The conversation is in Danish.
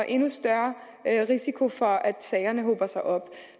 endnu større risiko for at sagerne hober sig op